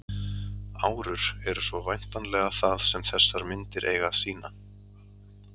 Árur eru svo væntanlega það sem þessar myndir eiga að sýna.